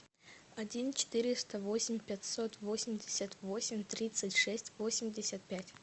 один четыреста восемь пятьсот восемьдесят восемь тридцать шесть восемьдесят пять